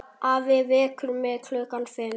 Afi vekur mig klukkan fimm.